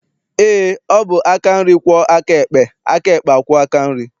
Eé, ọ bụ aka nri kwọọ aka ekpe, aka ekpe akwọọ aka nri.